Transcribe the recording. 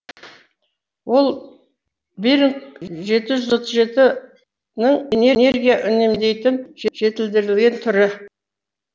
ол беринг жеті жүз отыз жетінің энергия үнемдейтін жетілдірілген түрі